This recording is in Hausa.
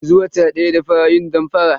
Yanzu wata daya da fara yin damfara.